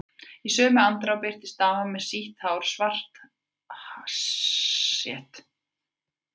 Í sömu andrá birtist dama með sítt, svart hár uppi á dekki.